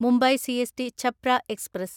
Mumbai CST Chhapra express